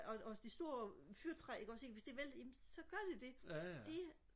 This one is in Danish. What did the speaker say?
og og det store fyrretræ ikke også ikke hvis det vælter jamen så gør det det det